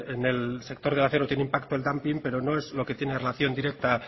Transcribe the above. en el sector del acero tiene impacto el dumping pero no es lo que tiene relación directa